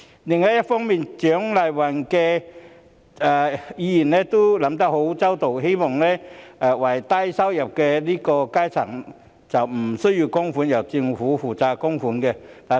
另一方面，蔣麗芸議員也考慮周詳，希望低收入階層不需要供款，由政府負責供款。